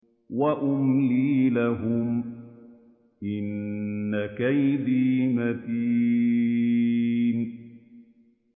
وَأُمْلِي لَهُمْ ۚ إِنَّ كَيْدِي مَتِينٌ